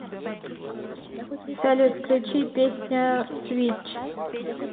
салют включи песня свитч